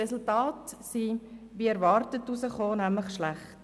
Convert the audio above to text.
Die Resultate waren wie erwartet schlecht.